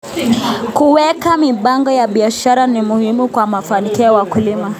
Kuweka mipango ya biashara ni muhimu kwa mafanikio ya wakulima.